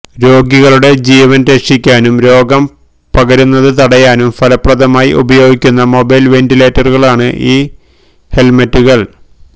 രോഗികളുടെ ജീവന് രക്ഷിക്കാനും രോഗം പകരുന്നത് തടയാനും ഫലപ്രദമായി ഉപയോഗിക്കുന്ന മൊബൈല് വെന്റിലേറ്ററുകളാണ് ഈ ഹെല്മെറ്റുകള്